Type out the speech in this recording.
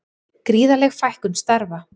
Gríðarleg fækkun starfa